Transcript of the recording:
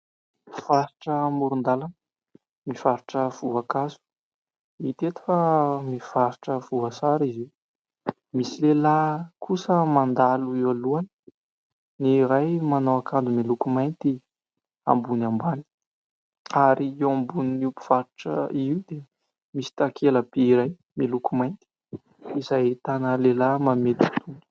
Mpivarotra amoron-dàlana mivarotra voankazo. Hita eto fa mivarotra voasary izy io. Misy lehilahy kosa mandalo eo alohany, ny iray manao akanjo miloko mainty ambony ambany. Ary eo ambonin'io mpivarotra io dia misy takela-by iray miloko mainty izay ahitana lehilahy manome totohondry.